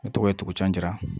Ne tɔgɔ ye tugucira